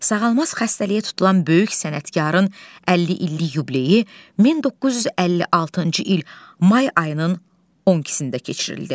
Sağalmaz xəstəliyə tutulan böyük sənətkarın 50 illik yubileyi 1956-cı il may ayının 12-sində keçirildi.